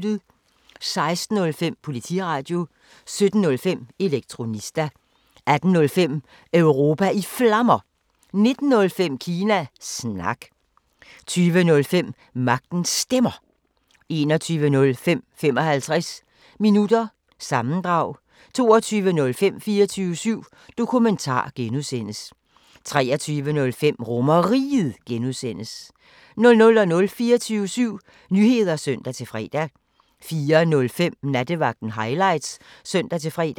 16:05: Politiradio 17:05: Elektronista 18:05: Europa i Flammer 19:05: Kina Snak 20:05: Magtens Stemmer 21:05: 55 Minutter – sammendrag 22:05: 24syv Dokumentar (G) 23:05: RomerRiget (G) 00:00: 24syv Nyheder (søn-fre) 04:05: Nattevagten Highlights (søn-fre)